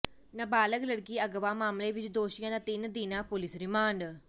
ਨਾਬਾਲਗ ਲੜਕੀ ਅਗਵਾ ਮਾਮਲੇ ਵਿਚ ਦੋਸ਼ੀਆਂ ਦਾ ਤਿੰਨ ਦਿਨਾਂ ਪੁਲਿਸ ਰਿਮਾਂਡ